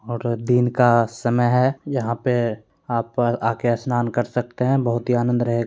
और दिन का समय है यहां पे आप आकर स्नान कर सकते हैं। बहोत ही आनंद रहे --